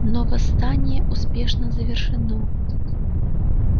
но восстание успешно завершено